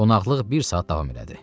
Qonaqlıq bir saat davam elədi.